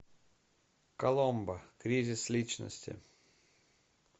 коломбо кризис личности